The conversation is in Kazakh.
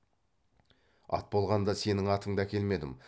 ат болғанда сенің атыңды әкелмедім